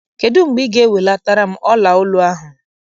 Kedụ mgbe ị ga ewelataram ọla olu ahụ?